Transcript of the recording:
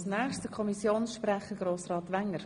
Das Wort hat der Kommissionssprecher Grossrat Wenger.